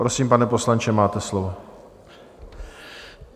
Prosím, pane poslanče, máte slovo.